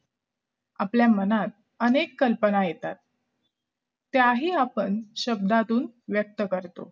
आपल्या मनात अनेक कल्पना येतात त्याही आपण शब्दातून व्यक्त करतो